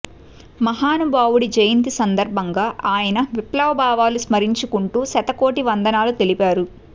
మహానుభావుడి జయంతి సందర్భంగా ఆయన విప్లవ భావాలు స్మరించుకుంటు శత కోటి వందనాలు తెలిపారు